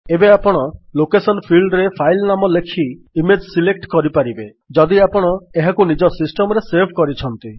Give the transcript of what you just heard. ଏବେ ଆପଣ ଲୋକେସନ ଫିଲ୍ଡରେ ଫାଇଲ୍ ନାମ ଲେଖି ଇମେଜ୍ ସିଲେକ୍ଟ କରିପାରିବେ ଯଦି ଆପଣ ଏହାକୁ ନିଜ ସିଷ୍ଟମ୍ ରେ ସେଭ୍ କରିଛନ୍ତି